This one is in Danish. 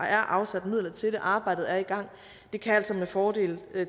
er afsat midler til og arbejdet er i gang det kan altså med fordel